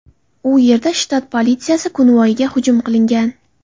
U yerda shtat politsiyasi konvoyiga hujum qilingan.